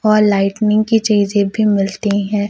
और लाइटनिंग की चीजे भी मिलती है।